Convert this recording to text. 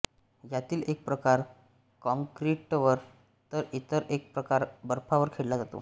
यातील एक प्रकार काँक्रीटवर तर इतर एक प्रकार बर्फावर खेळला जातो